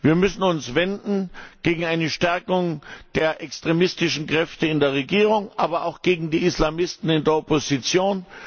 Wir müssen uns gegen eine Stärkung der extremistischen Kräfte in der Regierung wenden, aber auch gegen die Islamisten in der Opposition.